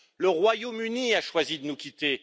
Le Royaume Uni a choisi de nous quitter.